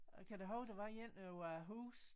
Øh kan du huske der var en over æ hus